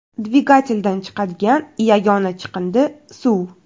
Dvigateldan chiqadigan yagona chiqindi suv.